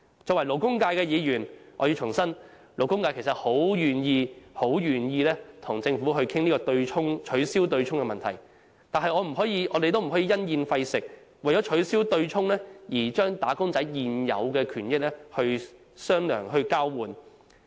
作為代表勞工界的議員，我要重申，勞工界十分願意與政府商討取消對沖的安排，但我們不可因噎廢食，不可為了要取消對沖而將"打工仔"的現有權益作交換。